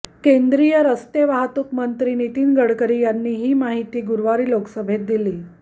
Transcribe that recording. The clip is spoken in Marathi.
केंद्रीय रस्ते वाहतूक नितीन गडकरी यांनी ही माहिती गुरुवारी लोकसभेत दिली